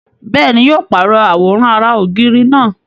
Bẹ́ẹ̀ni, yóò pàrọ̀ àwòrán ara ògiri náà